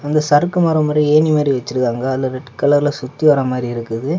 இது சரக்கு மரம் மரி ஏணி மரி வச்சிருக்காங்க அதுலெ ரெட் கலர்லெ சுத்தி வர மாதிரி இருக்கு.